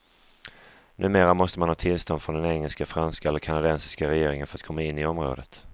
Numera måste man ha tillstånd från den engelska, franska eller kanadensiska regeringen för att komma in i området.